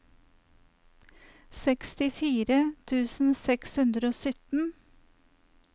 sekstifire tusen seks hundre og sytten